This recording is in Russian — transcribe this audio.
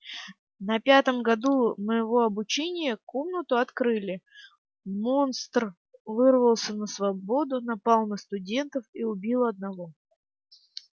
на пятом году моего обучения комнату открыли монстр вырвался на свободу напал на студентов и убил одного